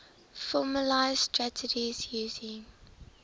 formalised strategies using